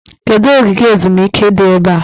Kedụ ogige ezumike dị ebe a?